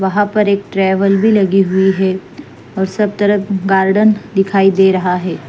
वहाँ पर एक ट्रैभेल भी लगी हुई है और सब तरफ गार्डन दिखाई दे रहा है।